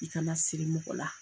I kana siri mɔgɔ la